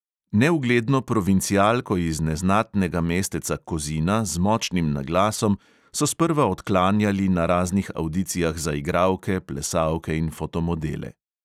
Neugledno provincialko iz neznatnega mesteca kozina z močnim naglasom so sprva odklanjali na raznih avdicijah za igralke, plesalke in fotomodele.